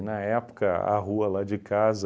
E na época, a rua lá de casa,